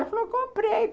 Ela falou, comprei.